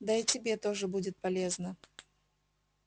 да и тебе тоже будет полезно